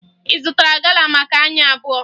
Ị zụtara gala maka anyị abụọ?